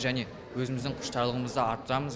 және өзіміздің құштарлығымызды арттырамыз